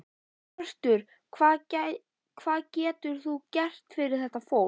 Hjörtur: Hvað getur þú gert fyrir þetta fólk?